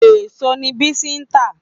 Èèso ni Bisi ń tà